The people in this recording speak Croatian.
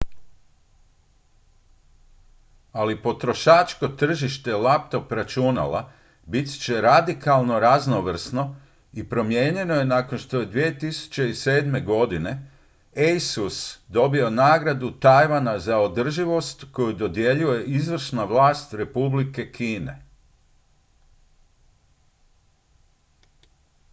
ali potrošačko tržište laptop računala bit će radikalno raznovrsno i promijenjeno nakon što je 2007. godine asus dobio nagradu tajvana za održivost koju dodjeljuje izvršna vlast republike kine